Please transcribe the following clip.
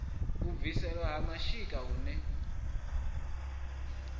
u bviselwa ha mashika huṋwe